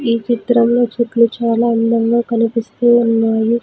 ఈ చిత్రంలో చెట్లు చాలా అందంగా కనిపిస్తూ ఉన్నాయి.